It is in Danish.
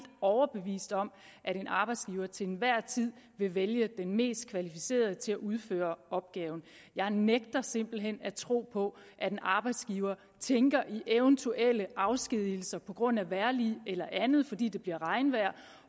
overbevist om at en arbejdsgiver til enhver tid vil vælge den mest kvalificerede til at udføre opgaven jeg nægter simpelt hen at tro på at en arbejdsgiver tænker i eventuelle afskedigelser på grund af vejrlig eller andet fordi det bliver regnvejr